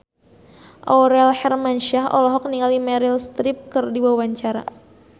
Aurel Hermansyah olohok ningali Meryl Streep keur diwawancara